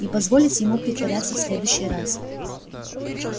не позволить ему притворяться в следующий раз